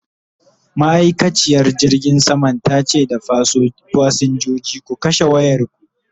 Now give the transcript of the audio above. ma'aikaciyar jirgin saman tace da fasinjoji "ku kashe wayarku!"